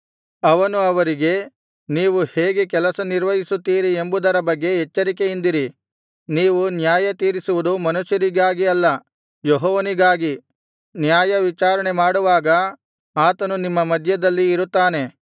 ಅವನು ಅವರಿಗೆ ನೀವು ಹೇಗೆ ಕೆಲಸ ನಿರ್ವಹಿಸುತ್ತೀರಿ ಎಂಬುದರ ಬಗ್ಗೆ ಎಚ್ಚರಿಕೆಯಿಂದಿರಿ ನೀವು ನ್ಯಾಯತೀರಿಸುವುದು ಮನುಷ್ಯರಿಗಾಗಿ ಅಲ್ಲ ಯೆಹೋವನಿಗಾಗಿ ನ್ಯಾಯವಿಚಾರಣೆ ಮಾಡುವಾಗ ಆತನು ನಿಮ್ಮ ಮಧ್ಯದಲ್ಲಿ ಇರುತ್ತಾನೆ